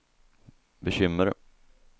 bekymmer